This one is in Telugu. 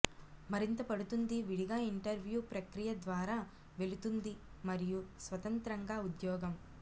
మరింత పడుతుంది విడిగా ఇంటర్వ్యూ ప్రక్రియ ద్వారా వెళుతుంది మరియు స్వతంత్రంగా ఉద్యోగం